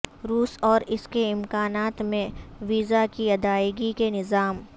روس اور اس کے امکانات میں ویزا کی ادائیگی کے نظام